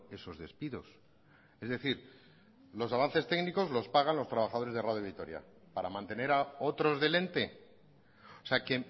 esos despidos es decir los avances técnicos los pagan los trabajadores de radio vitoria para mantener a otros del ente o sea que